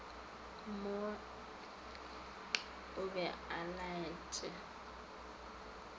mo o be o laetše